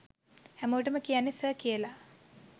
හැමෝටම කියන්නේ ‘සර්’ කියලා.